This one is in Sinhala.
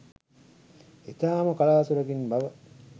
ඉතා ම කලාතුරකින් බව